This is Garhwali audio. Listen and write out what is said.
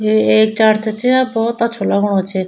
यु एक चर्च छ और भोत अच्छू लगणु च।